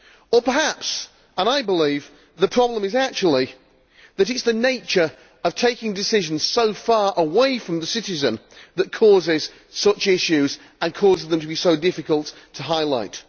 Or perhaps as I believe the problem is actually that it is the nature of taking decisions so far away from the citizen that causes such issues and causes them to be so difficult to highlight.